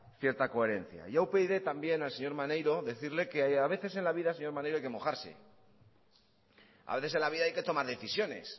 cierta coherencia yo a upyd también al señor maneiro decirle que a veces en la vida señor maneiro hay que mojarse a veces en la vida hay que tomar decisiones